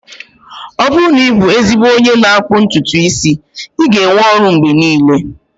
Ọ bụrụ na ị bụ ezigbo onye n'akpụ ntutu isi, ị ga-enwe ọrụ mgbe niile